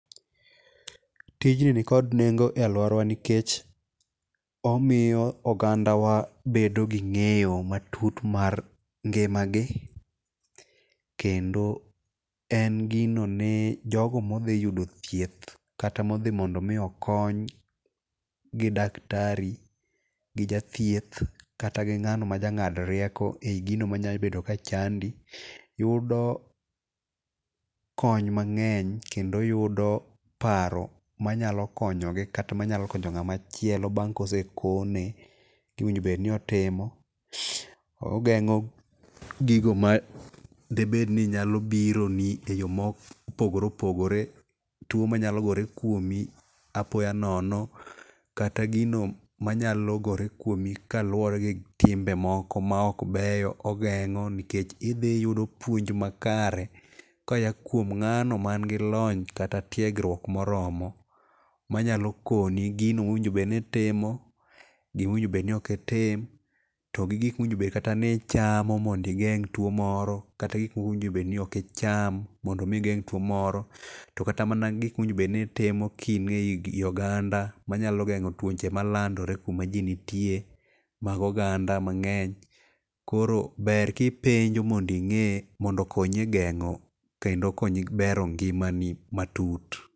Tijni ni kod nengo e aluorawa nikech omiyo oganda wa bedo gi ng'eyo matut mar ngimagi kendo en gino ni jogo modhi yudo thieth kata modhi mondo mi okony, gidaktari gi ja thieth kata gi ng'ano majang'ad rieko e gino manyalo bet ni chandi yudo kony mang'eny kendo yudo paro manyalo konyogi kata manyalo konyo ng'ama chielo bang' ka osekone gima onego bed ni otimo ong'eng'o gigo madibed ni nyalo bironi e yo mopogore opogore, tuo manyalo gore kuomi apoya nono, kata gino manyalo gore kuomi kaluwore gi timbe moko maok beyo, ogeng'o nikech idhi iyudo puonj makare koa kuom ng'ano man kod lony kata tiegruok moromo manyalo koni gino mowinjo bed ni itimo, gima owinjo bed ni ok itim, kata gik mowinjo bed ni ichamo mondo igeng' tuono kata gik mowinjo bed niok icham ondo mi geng' tuo moro to kata mana gik monego bed ni itimo ka in ei oganda manyalo geng'o tuoche malandore kama ji nitie mag oganda mang'eny koro ber kipenjo mondo i ng'e mondo okonyi e geng'o kendo okonyi e gero ngimani matut.